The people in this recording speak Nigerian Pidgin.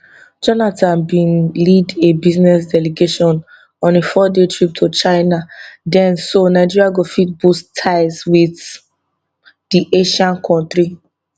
jonathan bin lead a business delegation on a fourday trip to china den so nigeria go fit boost ties wit di asian kontri